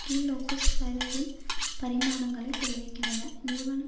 கீழ்நோக்கு சரிவின் பரிமாணங்களை தெரிவிக்கின்றன நிறுவனம்